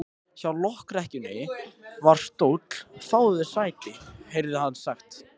Hjá lokrekkjunni var stóll: Fáðu þér sæti, heyrði hann sagt.